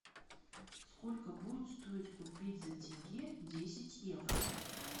сколько будет стоить купить за тенге десять евро